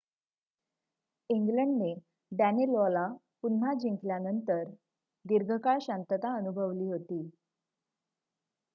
इंग्लंडने डॅनेलॉला पुन्हा जिंकल्यानंतर दीर्घकाळ शांतता अनुभवली होती